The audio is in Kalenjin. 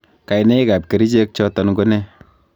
kainaig ab kericheg choton ko ne?